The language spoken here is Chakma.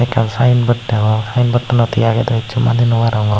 ekkan sayenbot degong sayenbottanot hi agey do hissu madey nobarongor.